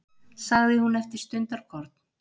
sagði hún eftir stundarkorn.